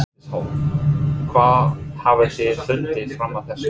Bryndís Hólm: Hvað hafið þið fundið fram að þessu?